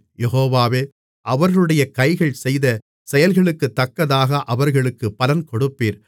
யெகோவாவே அவர்களுடைய கைகள் செய்த செயல்களுக்குத்தக்கதாக அவர்களுக்குப் பலன் கொடுப்பீர்